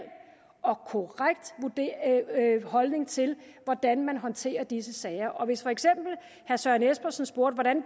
og korrekt holdning til hvordan man håndterer disse sager og hvis for eksempel herre søren espersen spurgte hvordan